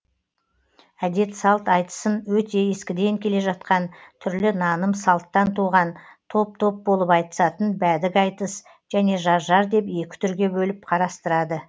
әдет салт айтысын өте ескіден келе жатқан түрлі наным салттан туған топ топ болып айтысатын бәдік айтыс және жар жар деп екі түрге бөліп қарастырады